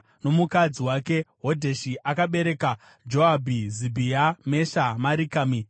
Nomukadzi wake Hodheshi akabereka Johabhi, Zibhia, Mesha Marikami,